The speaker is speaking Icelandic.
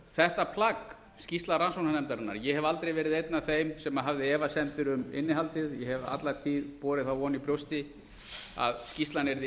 þetta plagg skýrsla rannsóknarnefndarinnar ég hef aldrei verið einn af þeim sem hafði efasemdir um innihaldið ég hef alla tíð borið von í brjósti að skýrsla yrði